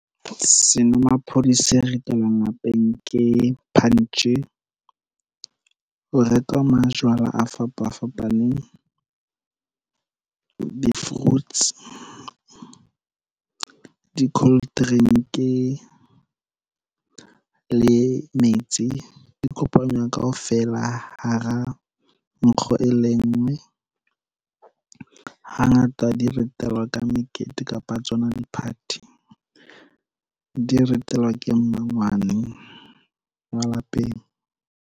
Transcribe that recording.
Senomaphodi se ritelwang lapeng ke punch. Ho rekwa majwala a fapafapaneng, di-fruits, di-coldrink le metsi, di kopanya kaofela hara nkgo e le nngwe. Hangata di ritelwa ka mekete kapa tsona di-party. Di ritelwa ke mmangwane wa lapeng.